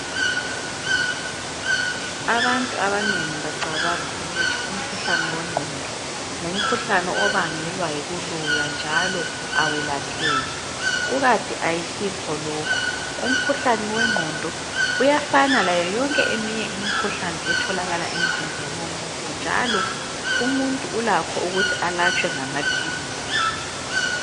Abantu abanengi bacabanga ukuthi umkhuhlane wengqondo ngumkhuhlane obangelwa yikuloywa njalo awelapheki kukanti ayisikho lokho, umkhuhlane wengqondo uyafana layo yonke eminye imikhuhlane etholakala emzimbeni womuntu njalo umuntu ulakho ukuthi alatshwe ngamaphilisi.